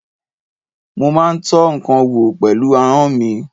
Mo má ń tọ́ ǹkan wò pẹ̀lú ahọ́n mi.